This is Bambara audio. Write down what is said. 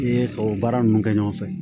I ye tubabu baara ninnu kɛ ɲɔgɔn fɛ